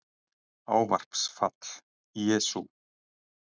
Ávarpsfall: Jesú